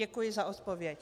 Děkuji za odpověď.